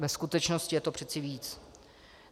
Ve skutečnosti je to přece víc.